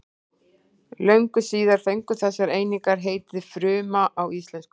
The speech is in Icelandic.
Löngu síðar fengu þessar einingar heitið fruma á íslensku.